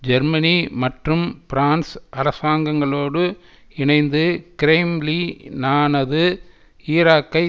Germany மற்றும் France அரசாங்கங்களோடு இணைந்து கிரெம்ளி னானது ஈராக்கை